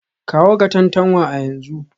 Kawo Katantanwa a yanzu